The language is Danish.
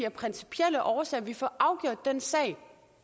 af principielle årsager vi får afgjort den sag